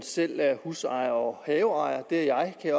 selv er husejer og haveejer det er jeg